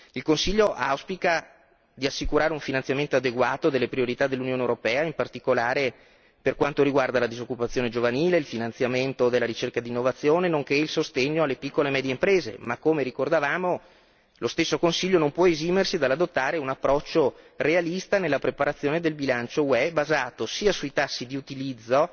Il Consiglio auspica di assicurare un finanziamento adeguato delle priorità dell'Unione europea, in particolare per quanto riguarda la disoccupazione giovanile, il finanziamento di ricerca ed innovazione, nonché il sostegno alle piccole e medie imprese ma, come ricordavamo, lo stesso Consiglio non può esimersi dall'adottare un approccio realista nella preparazione del bilancio UE, basato sia sui tassi di utilizzo